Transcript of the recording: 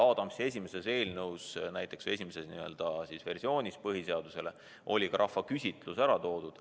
Näiteks Adamsi esimeses eelnõus, esimeses põhiseaduse versioonis, oli rahvaküsitlus ära toodud.